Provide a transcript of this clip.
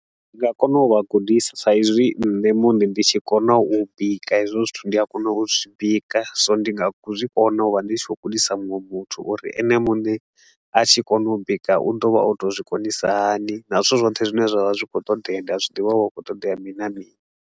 Ndi nga kona u vha gudisa sa i zwi nṋe muṋe ndi tshi kona u bika hezwo zwithu. Ndi a kona u zwi bika, so ndi nga zwi kona u vha ndi tshi khou gudisa muṅwe muthu uri ene muṋe a tshi kona u bika, u ḓo vha o tou zwi konisa hani na zwithu zwoṱhe zwine zwa vha zwi khou ṱoḓea, ndi a zwi ḓivha hu vha hu khou ṱoḓea mini na mini.